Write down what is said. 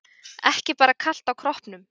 Ekki bara kalt á kroppnum.